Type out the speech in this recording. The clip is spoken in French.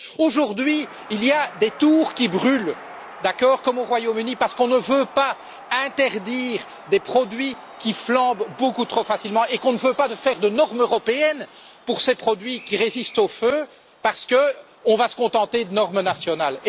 Aujourd'hui, il y a des tours qui brûlent, comme au Royaume Uni, parce qu'on ne veut pas interdire des produits qui flambent beaucoup trop facilement et qu'on ne veut pas faire de normes européennes pour ces produits qui résistent au feu, parce qu'on va se contenter de normes nationales.